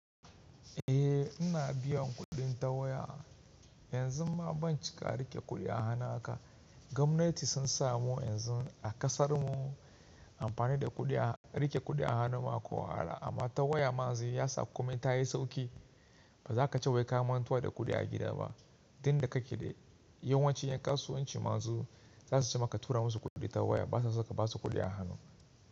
Eh, ina biyan kuɗin ta waya. Yanzu ma ban cika riƙe kuɗi a hannu haka. Gwamnati sun samu yanzu a kasar mu amfani da riƙe kuɗi a hannu ma ko ara, amma ta waya man zai ya sa komai ta yi sauƙi. Ba za ka ce wai ka mantuwa da kuɗi a gida ba. Dinda ka ke da yawancin yan kasuwanci ma su za su ce maka tura musu kuɗi ta waya, ba sa saka ba su kuɗi a hannu.